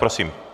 Prosím.